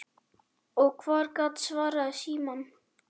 Og hver gat svarað í símann?